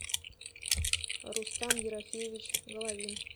рустам ерофеевич головин